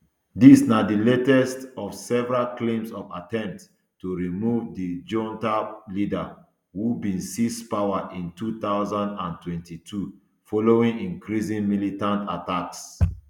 dis na di latest of several claims of attempts to remove di junta leader who bin seize power in two thousand and twenty-two following increasing militant attacks